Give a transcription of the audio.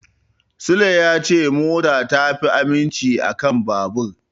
Sule ya ce mota ta fi aminci a kan babur.